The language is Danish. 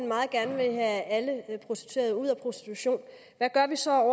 meget gerne vil have alle prostituerede ud af prostitution hvad gør vi så